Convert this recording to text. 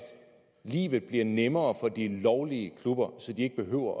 livet blev nemmere for de lovlige klubber så de ikke behøver